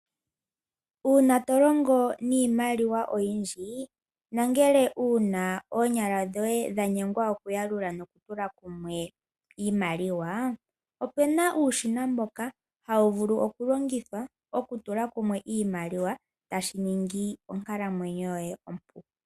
Uuna to longo niimaliwa oyindji na ngele wuna oonyala dhoye dha nyengwa okuyalula nokutula kumwe iimaliwa, ope na uushina mboka hawu vulu okulongithwa okutula kumwe iimaliwa tashi ningi onkalamwenyo yoye.